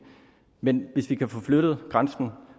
men hvis vi kan få flyttet grænsen